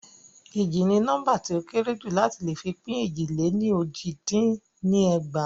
Éjì ni nóḿbà ti o kéré jù ti a le fi pin éjì lè ní ójì dín ní ẹgbàá.